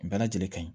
Bɛɛ lajɛlen ka ɲi